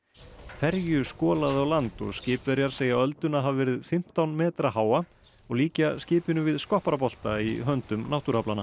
ferju skolaði á land og skipverjar segja ölduna hafa verið fimmtán metra háa og líkja skipinu við skopparabolta í höndum náttúruaflanna